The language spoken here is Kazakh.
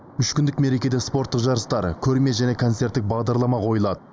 үш күндік мерекеде спорттық жарыстар көрме және концерттік бағдарлама қойылады